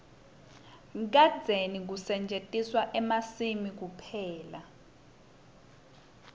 kadzeni bekusetjentwa emasimini kuphela